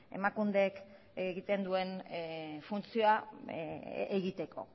emakundek egiten duen funtzioa egiteko